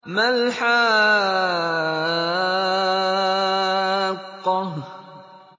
مَا الْحَاقَّةُ